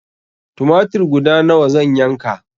Tumatir guda nawa zan yanka?